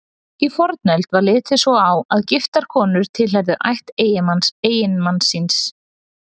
Í fornöld var litið svo á að giftar konur tilheyrðu ætt eiginmanns síns.